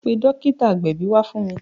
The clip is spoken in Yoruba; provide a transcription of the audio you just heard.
Pe dókítà agbẹ̀bí wá fún mi!